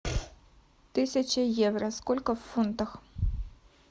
тысяча евро сколько в фунтах